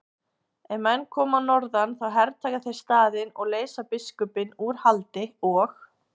Ef menn koma að norðan þá hertaka þeir staðinn og leysa biskupinn úr haldi og.